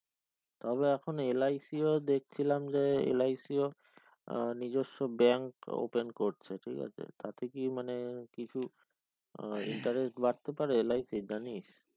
তবে এখন LIC ও দেখছিলাম যে LIC ও নিজেস্ব bank open করছে ঠিক আছে তাতে কি মানে কিছু আহ interest বাড়তে পারে LIC র জানিস